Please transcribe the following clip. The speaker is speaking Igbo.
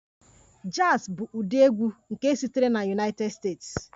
Jazz bụ ụdị egwu nke sitere na United States